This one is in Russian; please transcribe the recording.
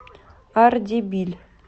ардебиль